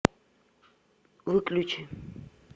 выключи